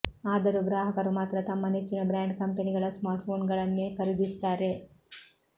ಆದರೂ ಗ್ರಾಹಕರು ಮಾತ್ರ ತಮ್ಮ ನೆಚ್ಚಿನ ಬ್ರ್ಯಾಂಡ್ ಕಂಪೆನಿಗಳ ಸ್ಮಾರ್ಟ್ಫೋನ್ಗಳನ್ನೇ ಖರೀದಿಸುತ್ತಾರೆ